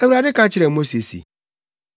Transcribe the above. Awurade ka kyerɛɛ Mose se,